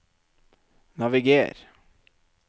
naviger